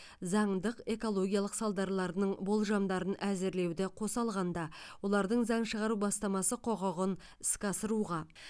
заңдық экологиялық салдарларының болжамдарын әзірлеуді қоса алғанда олардың заң шығару бастамасы құқығын іске асыруға